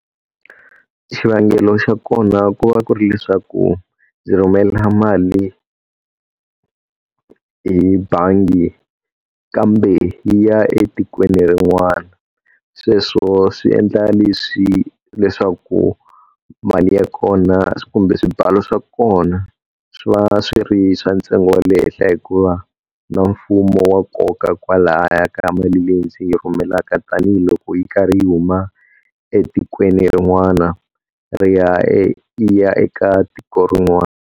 Xivangelo xa kona ku va ku ri leswaku ndzi rhumela mali hi bangi, kambe yi ya etikweni rin'wana. Sweswo swi endla leswi leswaku mali ya kona kumbe swibalo swa kona swi va swi ri swa ntsengo wa le henhla, hikuva na mfumo wa koka kwalaya ka mali leyi ndzi yi rhumelaka tanihiloko yi karhi yi huma etikweni rin'wana ri ya e yi ya eka tiko rin'wana.